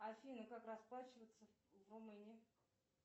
афина как расплачиваться в румынии